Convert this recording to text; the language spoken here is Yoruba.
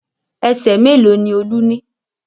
Ẹsẹ̀ mélòó ni Olú ní?